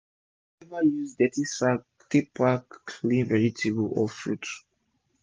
no ever use dirty sack take pack clean vegetable or fruit